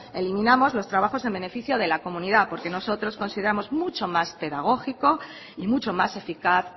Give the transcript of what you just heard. eliminamos los trabajos en beneficio de la comunidad porque nosotros consideramos mucho más pedagógico y mucho más eficaz